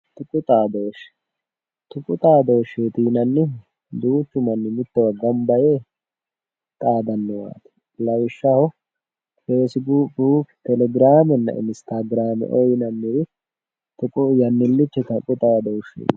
Tuqu daadoshe tuqu xadoshe yaa duuchu mani mitowa ganba yee xadanowat lawishaho fb telegramena instgrame yanilicho tuqu xadosheti